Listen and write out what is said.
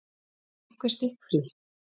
Er einhver stikkfrí?